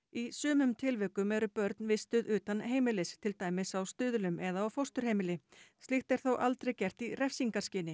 í sumum tilvikum eru börn vistuð utan heimilis til dæmis á Stuðlum eða á fósturheimili slíkt er þó aldrei gert í refsingarskyni